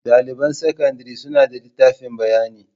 Daliban sakandare suna da litafin bayani.